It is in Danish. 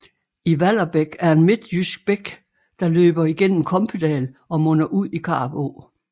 Vallerbæk er en midtjysk bæk der løber igennem Kompedal og munder ud i Karup Å